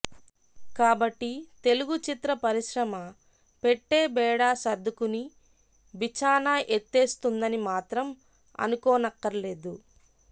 కాబట్టి తెలుగు చిత్ర పరిశ్రమ పెట్టె బేడా సర్దుకుని బిచాణా ఎత్తేస్తుందని మాత్రం అనుకోనక్కర్లేదు